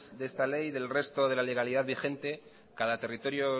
de esta ley del resto de la legalidad vigente cada territorio